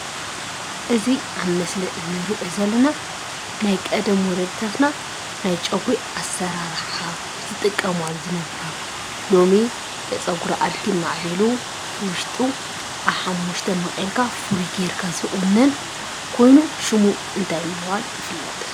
እዚ ኣብ ምስሊ እንሪኦ ዘለና ናይ ቀደም ወለድታትና ናይ ጨጉሪ ኣሰራርሓ ዝጥቀማሉ ዝነበራ ሎሚ ፀጉሪ ኣድጊ ማዕቢሉ እቲ ዉሽጡ ኣብ ሓሙሽተ መቂልካ ፍሩይ ጌርካ ዝቁነንን ኮይኑ ሽሙ እንታይ ብምባል ይፍለጥ?